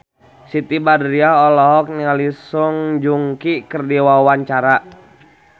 Siti Badriah olohok ningali Song Joong Ki keur diwawancara